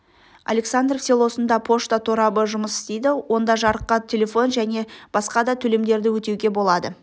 александров селосында пошта торабы жұмыс істейді онда жарыққа телефон және басқада төлемдерді өтеуге болады